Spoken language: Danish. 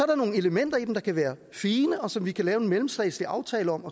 der nogle elementer i dem der kan være fine og som vi kan lave en mellemstatslig aftale om